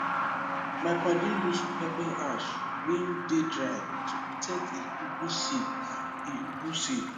my padi use pepper ash wey dey dry to protect e ugwu seed e ugwu seed